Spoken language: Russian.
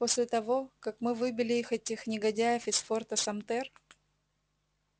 после того как мы выбили этих негодяев из форта самтер